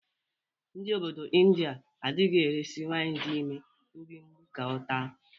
Ndị obodo Indịa adịghị eresi nwaanyị dị ime mgbimgbi ka ọ taa.